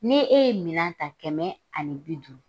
Ni e ye minan ta kɛmɛ ani bi duuru